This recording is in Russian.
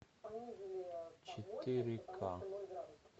четыре к